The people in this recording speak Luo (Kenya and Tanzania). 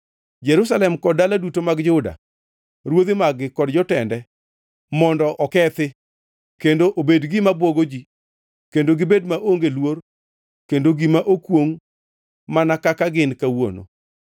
Jerusalem kod dala duto mag Juda, ruodhi mag-gi kod jotende, mondo okethi kendo obed gima bwogo ji kendo gibed maonge luor kendo gima okwongʼ, mana kaka gin kawuono;